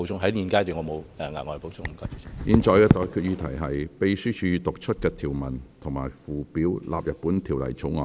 我現在向各位提出的待決議題是：秘書已讀出的條文及附表納入本條例草案。